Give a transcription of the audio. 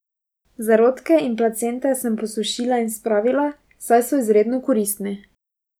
Zarodke in placente sem posušila in spravila, saj so izredno koristni.